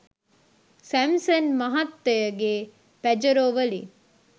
Samson මහත්තයගේ Pajero වලින්